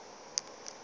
yo e bego e le